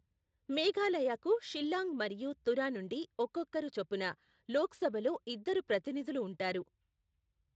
మేఘాలయకు షిల్లాంగ్ మరియు తురా నుండి ఒక్కొక్కరు చొప్పున లోక్సభలో ఇద్దరు ప్రతినిధులు ఉంటారు.